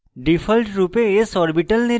ডিফল্টরূপে s orbital নির্বাচিত